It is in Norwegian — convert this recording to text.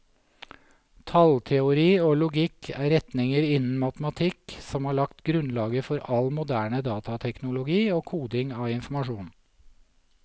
Tallteori og logikk er retninger innen matematikk som har lagt grunnlaget for all moderne datateknologi og koding av informasjon.